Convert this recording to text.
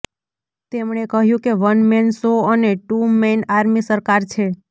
તેમણે કહ્યુ કે વન મેન શો અને ટૂ મૈન આર્મી સરકાર છે